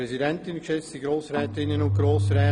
Dann gebe ich das Wort dem Regierungsrat.